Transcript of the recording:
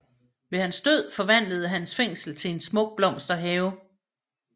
Ved hans død forvandledes hans fængsel til en smuk blomsterhave